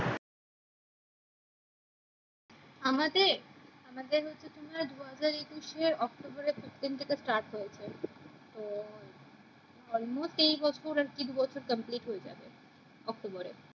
আমাদের আমাদের দু হাজর একুশ এ অক্টবরের প্রথম দিকে stared হয়েছে তো almost এই বছর দু বছর complete হয়ে যাবে অক্টোবরে